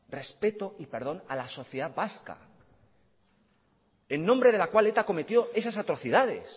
respeto y perdón a la sociedad vasca en nombre de la cual eta cometió esas atrocidades